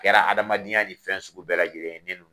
Kɛra adamadenya ni fɛn sugu bɛɛ labɔlen ye ne n'u ni